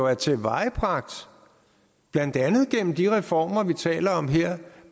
er tilvejebragt blandt andet gennem de reformer vi taler om her